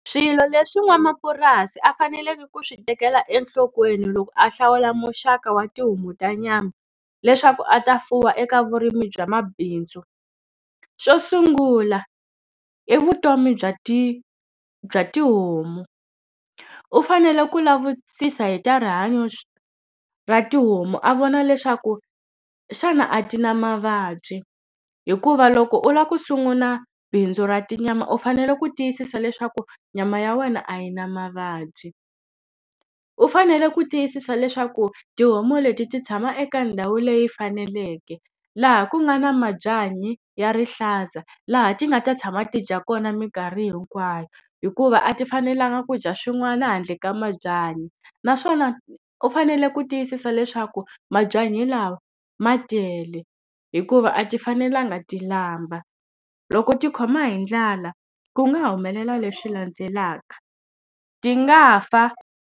Swilo leswi n'wamapurasi a faneleke ku swi tekela enhlokweni loko a hlawula muxaka wa tihomu ta nyama, leswaku a ta fuwa eka vurimi bya mabindzu. Xo sungula i vutomi bya bya tihomu. U fanele ku lavisisa hi ta rihanyo ra tihomu a vona leswaku xana a ti na mavabyi, hikuva loko u lava ku sungula bindzu ra tinyama u fanele ku tiyisisa leswaku nyama ya wena a yi na mavabyi. U fanele ku tiyisisa leswaku tihomu leti ti tshama eka ndhawu leyi faneleke, laha ku nga na mabyanyi ya rihlaza, laha ti nga ta tshama ti dya kona minkarhi hinkwayo. Hikuva a ti fanelanga ku dya swin'wana handle ka mabyanyi. Naswona u fanele ku tiyisisa leswaku mabyanyi lama ma tele, hikuva a ti fanelanga ti lamba. Loko ti khoma hi ndlala ku nga humelela leswi landzelaka, ti nga fa.